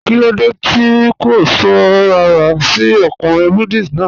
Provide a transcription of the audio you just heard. Kilódé tí ó kó sọ̀ ràrà sí ọ̀kùnrin Buddhist náà?